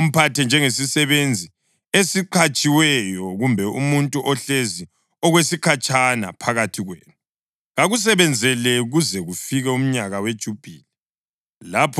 Kumele umphathe njengesisebenzi esiqhatshiweyo kumbe umuntu ohlezi okwesikhatshana phakathi kwenu. Kakusebenzele kuze kufike umnyaka weJubhili.